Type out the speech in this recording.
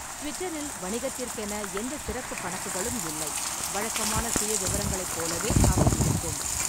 ட்விட்டரில் வணிகத்திற்கென எந்தச் சிறப்பு கணக்குகளும் இல்லை. வழக்கமான சுயவிவரங்களைப் போலவே அவை இருக்கும்.